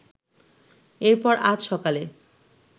এরপর আজ সকালে